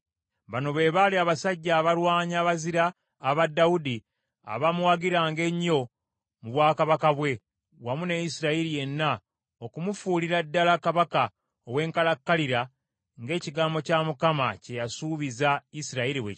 Bano be baali abasajja abalwanyi abazira aba Dawudi, abaamuwagiranga ennyo mu bwakabaka bwe, wamu ne Isirayiri yenna okumufuulira ddala kabaka ow’enkalakkalira ng’ekigambo kya Mukama kye yasuubiza Isirayiri bwe kyali;